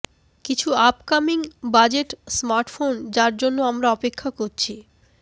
কিছু upcoming budget smartphone যার জন্য আমরা অপেক্ষা করছি